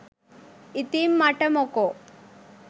ඉතින් මට මොකෝ